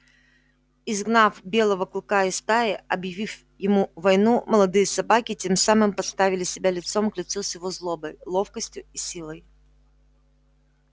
изгнав белого клыка из стаи объявив ему войну молодые собаки тем самым поставили себя лицом к лицу с его злобой ловкостью и силой